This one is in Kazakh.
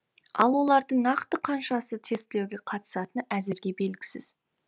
ал олардың нақты қаншасы тестілеуге қатысатыны әзірге белгісіз